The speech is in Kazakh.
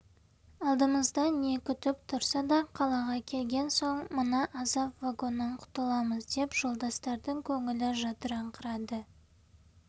алдымызда не күтіп тұрса да қалаға келген соң мына азап вагоннан құтыламыз деп жолдастардың көңілі жадыраңқырады